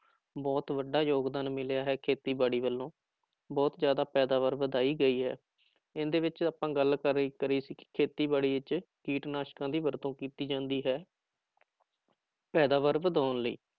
ਬਹੁਤ ਵੱਡਾ ਯੋਗਦਾਨ ਮਿਲਿਆ ਹੈ ਖੇਤੀਬਾੜੀ ਵੱਲੋਂ ਬਹੁਤ ਜ਼ਿਆਦਾ ਪੈਦਾਵਾਰ ਵਧਾਈ ਗਈ ਹੈ, ਇਹਦੇ ਵਿੱਚ ਆਪਾਂ ਗੱਲ ਕਰੀ ਕਰੀ ਸੀ ਕਿ ਖੇਤੀਬਾੜੀ ਵਿੱਚ ਕੀਟਨਾਸਕਾਂ ਦੀ ਵਰਤੋਂ ਕੀਤੀ ਜਾਂਦੀ ਹੈ